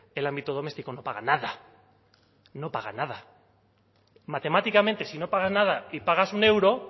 el ámbito doméstico no paga nada no paga nada matemáticamente si no paga nada y pagas un euro